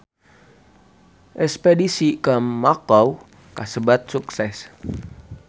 Espedisi ka Makau kasebat sukses